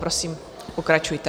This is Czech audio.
Prosím, pokračujte.